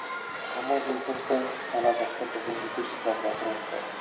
апама жездем сай ана жақта біздің бикешжылап жатыр осылай